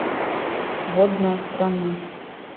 водная страна